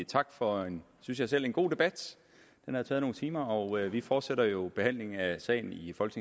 tak for en synes jeg selv god debat den har taget nogle timer og vi fortsætter jo behandlingen af sagen